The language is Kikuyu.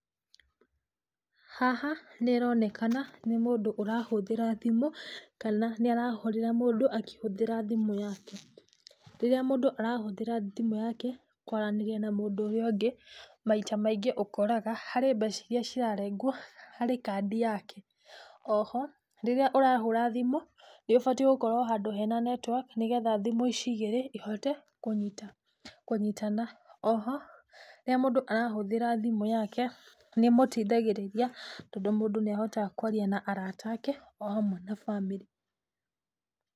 Haha nĩroneka na nĩ mũndũ ũrahũthĩra thimũ, kana nĩarahũrĩra mũndũ akĩhũthĩra thimũ yake. Rĩrĩa mũndũ arahũthĩra thimũ yake, kwaranĩria na mũndũ ũrĩa ũngĩ, maita maingĩ ũkoraga, harĩ mbeca iria cirarengwo harĩ kandi yake, o ho, rĩrĩa ũrahũra thimũ, nĩũbatiĩ gũkorwo handũ hena network nĩgetha thimũ ici igĩrĩ cihote kũnyita kũnyitana. O ho, rĩrĩa mũndũ arahũthĩra thimũ yake nĩ ĩmũteithagĩrĩria, tondũ mũndũ nĩahotaga kwaria na arata ake o hamwe na bamĩrĩ.